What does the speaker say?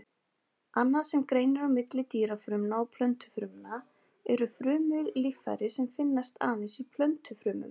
Annað sem greinir á milli dýrafrumna og plöntufrumna eru frumulíffæri sem finnast aðeins í plöntufrumum.